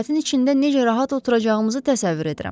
Səbətin içində necə rahat oturacağımızı təsəvvür edirəm.